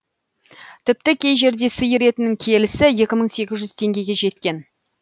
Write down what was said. тіпті кей жерде сиыр етінің келісі екі мың сегіз жүз теңгеге жеткен